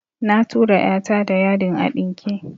Na tura "ya ta da yadin a ɗinke